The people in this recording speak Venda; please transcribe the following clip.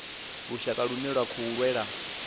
lushaka lune lwa khou lwela